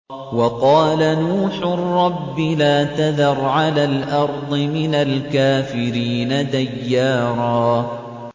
وَقَالَ نُوحٌ رَّبِّ لَا تَذَرْ عَلَى الْأَرْضِ مِنَ الْكَافِرِينَ دَيَّارًا